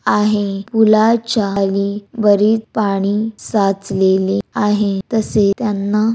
आहे पूलाच्या खाली पाणी साचलेले आहे तसे त्यांना--